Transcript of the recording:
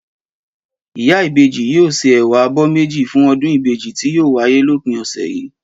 Ìyá ìbejì yóò se Ẹ̀wà abọ́ méjì fún ọdún ìbejì tí yóò wáyé lópin òsẹ̀ yìí